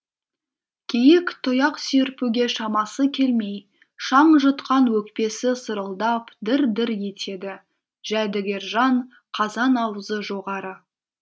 киік тұяқ серпуге шамасы келмей шаң жұтқан өкпесі сырылдап дір дір етеді жәдігержан қазан аузы жоғары